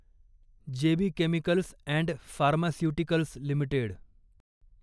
जे B chemicals and pharmaceuticals limited